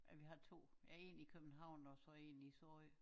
Ja vi har 2 ja én i København og så én i Sorø